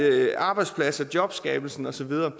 arbejdspladser jobskabelse og så videre